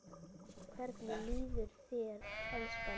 Hvernig líður þér, elskan?